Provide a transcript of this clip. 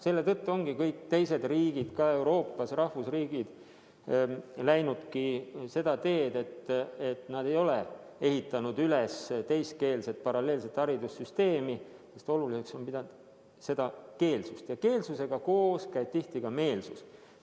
Selle tõttu ongi kõik teised riigid Euroopas, rahvusriigid, läinud seda teed, et nad ei ole ehitanud üles teiskeelset paralleelset haridussüsteemi, sest oluliseks on peetud keelsust, millega koos käib tihti ka meelsus.